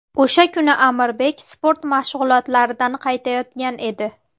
O‘sha kuni Amirbek sport mashg‘ulotlaridan qaytayotgan edi.